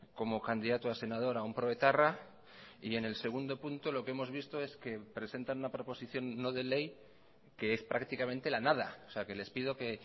como candidato a senador a un proetarra y en el segundo punto lo que hemos visto es que presentan una proposición no de ley que es prácticamente la nada o sea que les pido que